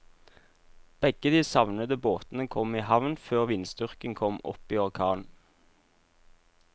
Begge de savnede båtene kom i havn før vindstyrken kom opp i orkan.